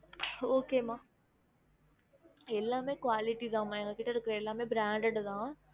Okay மா எல்லாமே quality தான் மா எங்ககிட்ட இருக்குற எல்லாமே branded தான்